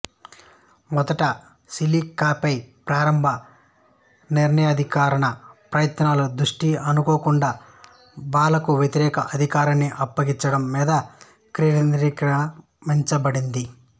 మొదట సీలేకాపై ప్రారంభ నిరాయుధీకరణ ప్రయత్నాల దృష్టి అనుకోకుండా బాలాకు వ్యతిరేక అధికారాన్ని అప్పగించడం మీద కేంద్రీకరిమబడింది